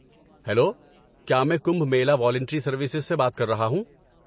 Hello, کیا میں Kumbh Mela volunteer services سے بات کر رہا ہوں؟